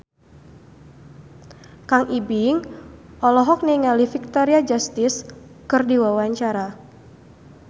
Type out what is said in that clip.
Kang Ibing olohok ningali Victoria Justice keur diwawancara